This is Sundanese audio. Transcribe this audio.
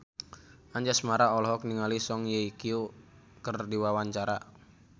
Anjasmara olohok ningali Song Hye Kyo keur diwawancara